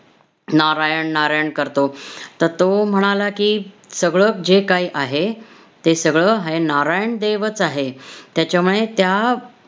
नारायण- नारायण करतो? तर तो म्हणाला की, सगळं जे काही आहे, ते सगळं हे~ नारायण देवच आहे. त्याच्यामुळे त्या